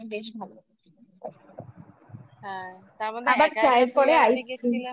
বেশ ভালো হ্যাঁ তার মধ্যে আবার চায়ের পরে ice cream ও খেলাম